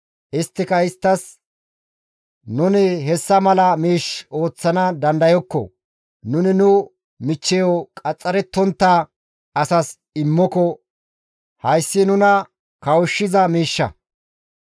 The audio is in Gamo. isttika isttas, «Nuni hessa mala miish ooththana dandayokko; nuni nu michcheyo qaxxarettontta asas immiko hayssi nuna kawushshiza miishsha.